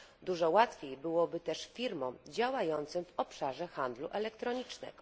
Dużo łatwiej byłoby też firmom działającym w obszarze handlu elektronicznego.